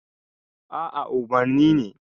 a a umarni ne